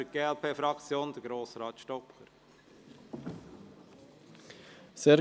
Für die glp-Fraktion: Grossrat Stocker.